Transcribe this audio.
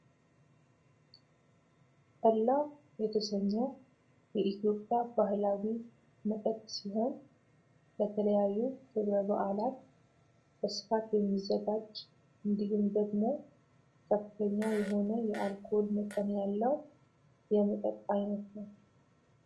ጠላ የተሰኘህ የኢትዮጵያ ባህላዊ መጠጥ ሲሆን ለተለያዩ ክብረ በዓላት በስፋት የሚዘጋጅ እንዲሁም ደግሞ ከፍተኛ የሆነ የአልኮል መጠን ያለው የመጠጥ አይነት ነው።